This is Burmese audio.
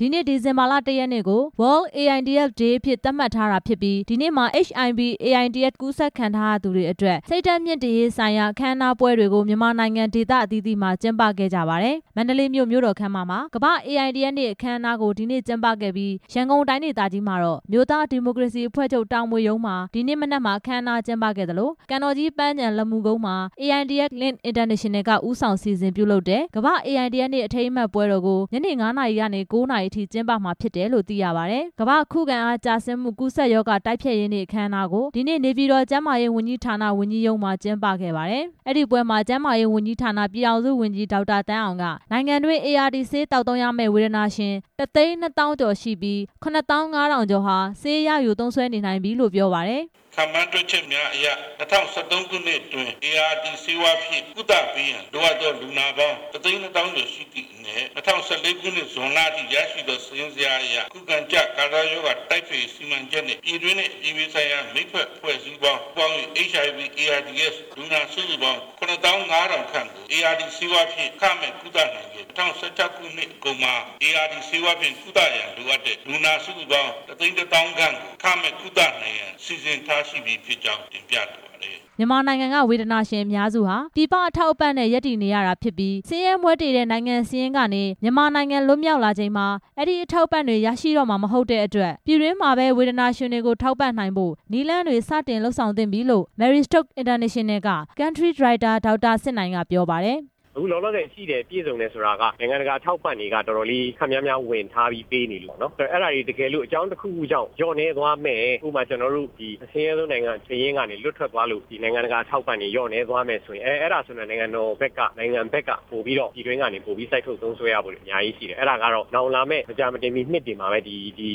ဒီနေ့ဒီဇင်ဘာလ ၁ ရက်နေ့ကို World AIDS Day အဖြစ်သတ်မှတ်ထားတာဖြစ်ပြီး ဒီနေ့မှာ HIV/ AIDS ကူးစက်ခံထားရသူတွေအတွက် စိတ်ဓါတ်မြှင့်တင်ရေးဆိုင်ရာ အခမ်းအနားတွေပွဲတွေကို မြန်မာနိုင်ငံ က ဒေသအသီးသီးမှာ ကျင်းပခဲ့ကြပါတယ်။ မန္တလေးမြို့ မြို့တော်ခန်းမမှာ ကမ္ဘာ့အေအိုင်ဒီအက်စ်နေ့ (World AIDS Day 2014) အခမ်းအနား ကို ဒီနေ့ ကျင်းပခဲ့ပြီး ရန်ကုန်တိုင်းဒေသကြီးမှာတော့ အမျိုးသားဒီမိုကရေစီအဖွဲ့ချုပ် တာမွေရုံးမှာ ဒီနေ့မနက်မှာ အခမ်း အနားကျင်းပခဲ့သလို ကန်တော်ကြီးပန်းခြံ လက်မူကုန်းမှာ AIDS Link International က ဦးဆောင်စီစဉ်ပြုလုပ်တဲ့ ကမ္ဘာ့အေအိုင်ဒီအက်စ်နေ့ အထိမ်းအမှတ်ပွဲတော်ကို ညနေ ၅ နာရီကနေ ၉ နာရီထိ ကျင်းပမှာဖြစ်ပါတယ်လို့ သိရပါတယ်။ ကမ္ဘာ့ခုခံအားကျဆင်းမှုကူးစက်ရောဂါ တိုက်ဖျက်ရေးနေ့ အခမ်းအနားကို ဒီနေ့ နေပြည်တော် ကျန်းမာရေး ဝန်ကြီးဌာန ဝန်ကြီးရုံးမှာကျင်းပခဲ့ပါတယ်။ အဲ့ဒီပွဲမှာ ကျန်းမာရေးဝန်ကြီးဌာန ပြည်ထောင်စုဝန်ကြီး ဒေါက်တာသန်းအောင်က နိုင်ငံတွင်း ART ဆေးသောက် သုံးရမယ့် ဝေဒနာရှင် တစ်သိန်းနှစ်သောင်းကျော်ရှိပြီး ၇ သောင်း ၅ ထောင်ကျော်ဟာ ဆေးရယူသုံးစွဲနေနိုင်ပြီ လို့ ပြောပါတယ်။ ဒေါက်တာသန်းအောင်။ ။ခန့်မှန်းတွက်ချက်မှှုများအရ ၂ဝ၁၃ ခုနှစ်တွင် ART ဆေးဝါးဖြင့် ကုသပေးရန် လိုအပ်သောလူနာပေါင်း ၁ သိန်း ၂ သောင်းကျော်ရှိတဲ့အနက် ၂ဝ၁၄ ခုနှစ်ဇွန်လအထိ ရရှိသော စာရင်းဇယားအရ ခုခံအားကျခံစားရောဂါတိုက်ဖျက်ရေး စီမံချက်အနေနဲ့ ပြည်တွင်းနဲ့ အပြည်ပြည်ဆိုင်ရာ မိတ်ဖက်အဖွဲ့ အစည်းပေါင်းတွေနဲ့ ပူးပေါင်းပြီး HIV/AIDS လူနာစုစုပေါင်း ၇ သောင်း ၅ ထောင်ခန့်ကို ART ဆေးဝါးဖြင့် အခမဲ့ကုသနိုင်ခဲ့ပါတယ်၊ ၂ဝ၁၆ ခုနှစ်အကုန်မှာ ART ဆေးဝါးဖြင့် ကုသရန်လိုအပ်တဲ့ လူနာစုစုပေါင်း ၁ သိန်း ၁ သောင်းခန့်ကို အခမဲ့ကုသနိုင်ရန် စီစဉ်းထားရှိပြီဖြစ်ကြောင်း တင်ပြလိုပါတယ်။ မြန်မာနိုင်ငံကဝေဒနာရှင်အများစုဟာ ပြည်ပအထောက်အပံ့နဲ့ ရပ်တည်နေရတာဖြစ်ပြီး ဆင်းရဲမွဲတေ တဲ့ နိုင်ငံစာရင်းက မြန်မာနိုင်ငံလွှတ်မြောက်လာချိန်မှ အဲ့ဒီအထောက်အပံ့တွေ ရရှိတော့မှာမဟုတ်တဲ့ အတွက် ပြည်တွင်းမှာပဲ ဝေဒနာရှင်တွေကိုထောက်ပံ့နိုင်ဖို့ နည်းလမ်းတွေစတင် လုပ်ဆောင်သင့်ပြီလို့ Marie Stopes International က Country Director ဒေါက်တာစစ်နိုင်က ပြောပါတယ်။ ဒေါက်တာစစ်နိုင်။ ။အခုလောလောဆယ်ရှိတယ် ပြည့်စုံတယ်ဆိုတာက နိုင်ငံတကာ အထောက်အပံ့တွေ က တော်တော်လေးခပ်များများ ဝင်ထားပြီးပေးနေလို့ပေါ့နော်၊ အဲ့ဒါတွေတကယ်လို့ အကြောင်းတစ်ခု ခုကြောင့် လျော့နည်းသွားမယ်၊ ဥပမာ ကျနော်တို့ အဆင်းရဲဆုံးနိုင်ငံစာရင်းကနေ လွတ်ထွက်သွားလို့ ဒီနိုင်ငံတကာ အထောက်အပံ့တွေ လျော့နည်းသွားမယ်ဆိုရင် အဲ့ဒါဆိုရင် နိုင်ငံတော်ဘက်က ပြည်တွင်ကနေပိုပြီး စိုက်ထုတ်သုံး စွဲရဖို့တွေ အများကြီးရှိတယ်၊ အဲ့ဒါကတော့ မကြာမီနှစ်တွေမှာပဲ ဒီ